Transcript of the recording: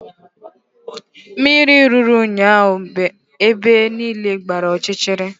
Mmiri ruru ụnyaahụ ebe niile agbaa ọchịchịrị